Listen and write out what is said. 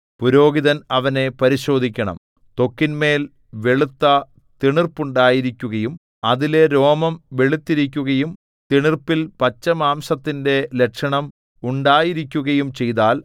പുരോഹിതൻ അവനെ പരിശോധിക്കണം ത്വക്കിന്മേൽ വെളുത്ത തിണർപ്പുണ്ടായിരിക്കുകയും അതിലെ രോമം വെളുത്തിരിക്കുകയും തിണർപ്പിൽ പച്ചമാംസത്തിന്റെ ലക്ഷണം ഉണ്ടായിരിക്കുകയും ചെയ്താൽ